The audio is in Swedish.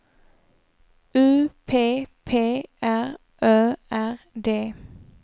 U P P R Ö R D